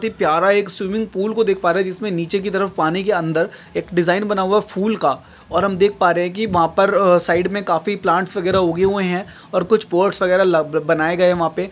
ते प्यारा एक स्विमिंग पूल को देख पा रहे है जिसमे जिसमे नीचेकी तरफ पानी के अंदर एक डिझाईन बना हुआ एक फूल का और हम देख पा रहे है की वहा पर साइड मै काफी प्लांट्स वगैरा उगे हुए है और कूच स्पोर्ट्स वगैरा बनाये गये वहा पे।